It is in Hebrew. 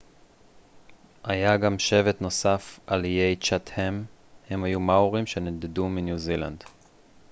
היה גם שבט נוסף על איי צ'טהאם הם היו מאורים שנדדו מניו זילנד